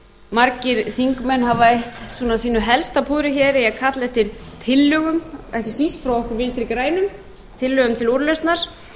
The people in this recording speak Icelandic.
margir þingmenn hafa eytt svona sínu helsta púðri hér í að kalla eftir tillögum eftir þingflokki vinstri grænum tillögum til úrlausnar og